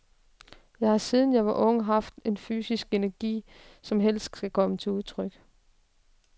Jeg har, siden jeg var ung, haft en fysisk energi, som helst skal komme til udtryk.